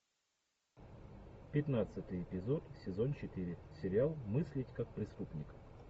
пятнадцатый эпизод сезон четыре сериал мыслить как преступник